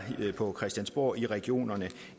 på christiansborg i regionerne